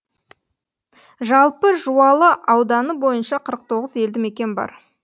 жалпы жуалы ауданы бойынша қырық тоғыз елді мекен бар